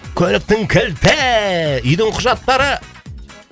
көліктің кілті үйдің құжаттары